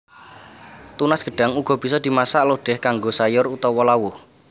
Tunas gedhang uga bisa dimasak lodèh kanggo sayur utawa lawuh